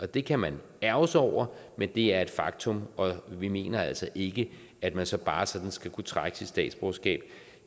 det kan man ærgre sig over men det er et faktum og vi mener altså ikke at man så bare sådan skal kunne trække sit statsborgerskab